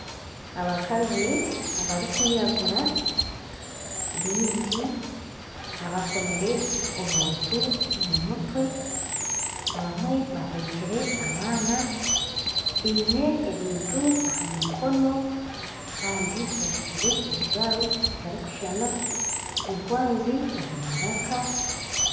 Abakazi abarikwiragura bingi abakomire obuntu omu mutwe abamwe baheekire abaana biine ebintu aha mikono kandi bajwaire ebijwaro bitarikushushana enkwazi omu maraka